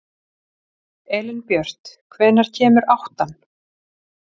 Elínbjört, hvenær kemur áttan?